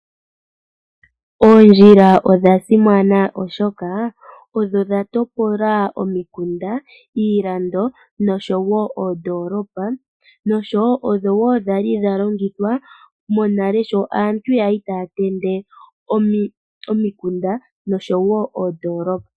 Oondjila odha simana oshoka odho dha topola omikunda ,iilando no sho wo oondolopa no sho wo odho dhali dha longithwa monale sho aantu ya li taya tende omikunda no sho wo oondolopa.